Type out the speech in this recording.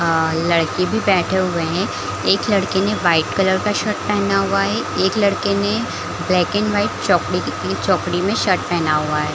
आ लड़के भी बैठे हुए है एक लड़के ने वाइट कलर का शर्ट पेहना हुआ है एक लड़के ने ब्लैक एंड वाइट चॉकलेट चॉकलेटी मै शर्ट पेहना हुआ है।